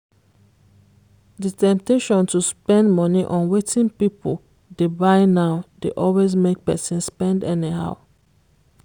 di temptation to spend money on wetin people dey buy now dey always make person spend anyhow.